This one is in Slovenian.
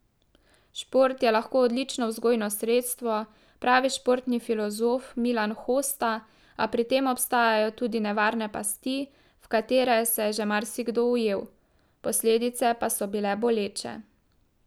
Šport je lahko odlično vzgojno sredstvo, pravi športni filozof Milan Hosta, a pri tem obstajajo tudi nevarne pasti, v katere se je že marsikdo ujel, posledice pa so bile boleče.